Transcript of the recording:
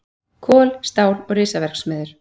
Kol, stál og risaverksmiðjur.